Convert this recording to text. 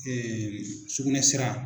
sugunɛsira.